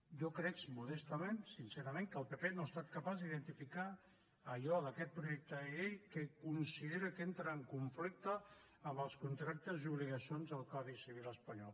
jo crec modestament sincerament que el pp no ha estat capaç d’identificar allò d’aquest projecte de llei que considera que entra en conflicte amb els contractes i obligacions del codi civil espanyol